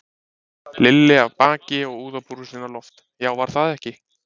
Lilli af baki og úðabrúsinn á loft, já, var það ekki!